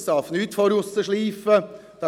Es darf nicht draussen geschliffen werden;